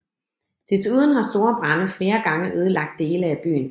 Desuden har store brande flere gange ødelagt dele af byen